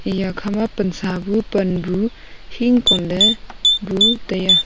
iya kha pansa bu pan bu hingkon ley bu tai a.